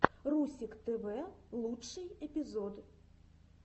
русик тв лучший эпизод